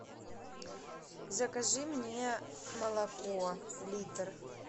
закажи мне молоко литр